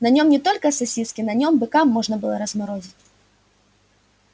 на нём не только сосиски на нём быка можно было разморозить